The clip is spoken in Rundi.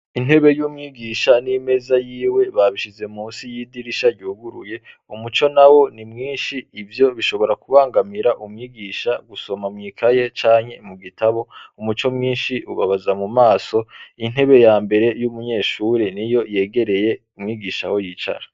Intebe y'umwigisha n'imeza yiwe babishize munsi y'idirisha ryuguruye, umuco nawo ni mwinshi ivyo bishobora kubangamira umwigisha gusoma mw'ikaye canke mugutabo ,umuco mwinshi ubabaza mumaso intebe yambere y'umunyeshure niyo yeregeye mwigisha aho yicara.